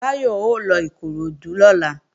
Báyọ̀ ó lọ Ìkoròdú lọ́la